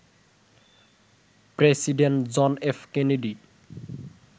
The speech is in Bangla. president John F Kennedy